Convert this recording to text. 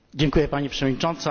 Pani Przewodnicząca!